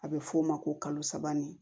A bɛ f'o ma ko kalo sabanin